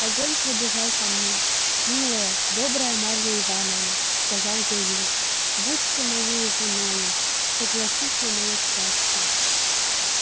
огонь пробежал по мне милая добрая марья ивановна сказал я ей будь моею женою согласись на моё счастье